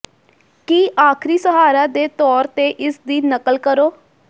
ਕੀ ਆਖਰੀ ਸਹਾਰਾ ਦੇ ਤੌਰ ਤੇ ਇਸ ਦੀ ਨਕਲ ਕਰੋ